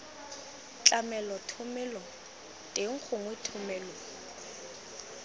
tlamelo thomelo teng gongwe thomelo